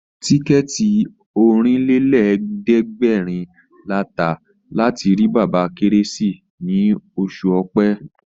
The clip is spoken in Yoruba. Tíkẹ̀ẹ̀tì Ọ̀rìnlélẹ̀ẹ́dẹ́gbèrin la tà láti rí bàbá Kérésìmesì ní oṣù Ọ̀pẹ